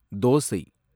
dosa